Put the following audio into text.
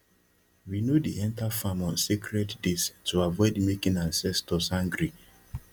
we no dey enter farm on sacred days to avoid making ancestors angry